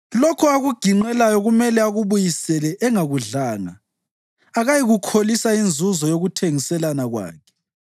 Lokho akuginqeleyo kumele akubuyise engakudlanga; akayikuyikholisa inzuzo yokuthengiselana kwakhe.